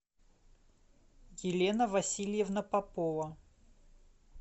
елена васильевна попова